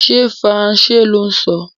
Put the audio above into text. Ṣé Faransé lò ń sọ?